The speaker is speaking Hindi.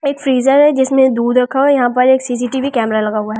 एक फ्रीजर है जिसमें दूध रखा हुआ है यहां पर एक सी_सी_टी_वी कैमरा लगा हुआ है ।